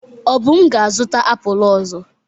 Obum ga-azụta apụl ọzọ.